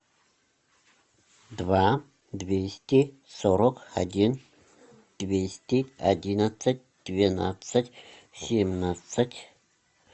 два двести сорок один двести одиннадцать двенадцать семнадцать